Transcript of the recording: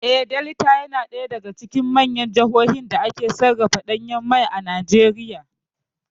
Eh, Delta ya na ɗaya daga cikin manyan jahohin dake sarrafa ɗanyan mai a Najeriya